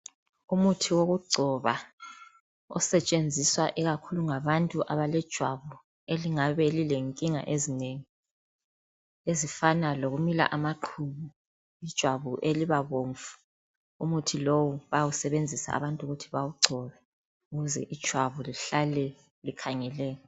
Umuthi wokugcoba osetshenziswa ikakhulu ngabantu abalejwabu elingabe lilenkinga ezinengi, ezifana lokumila amaqhubu, ijwabu elibabomvu. Umuthi lowu bayawusebenzisa abantu ukuthi bawugcobe ukuze ijwabu lihlale likhangeleka.